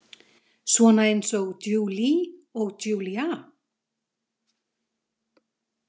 Svona eins og Julie og Julia?